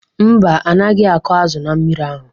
Mba, anaghị akụ azụ na mmiri ahụ.